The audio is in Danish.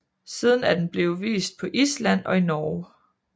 Siden er den blevet vist på Island og i Norge